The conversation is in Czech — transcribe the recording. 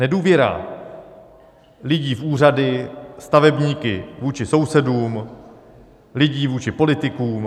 Nedůvěra lidí v úřady, stavebníky, vůči sousedům, lidí vůči politikům.